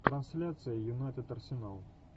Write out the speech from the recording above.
трансляция юнайтед арсенал